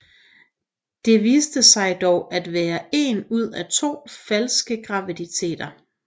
Det viste sig dog at være en ud af to falske graviditeter